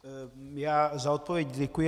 Já za odpověď děkuji.